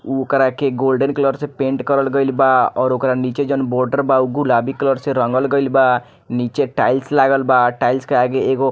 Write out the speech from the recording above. उ ओकरा के गोल्डन कलर से पेंट करल गईल बा और ओकरा नीचे जोन बॉर्डर बा उ गुलाबी कलर से रंगल गईल बा नीचे टाइल्स लागल बा टाइल्स के आगे एगो --